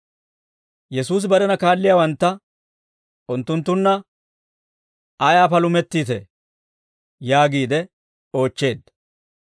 Yesuusi barena kaalliyaawantta «Unttunttunna ayaa palumettiitee?» yaagiide oochcheedda.